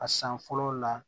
A san fɔlɔ la